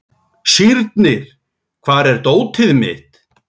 Sírnir, hvar er dótið mitt?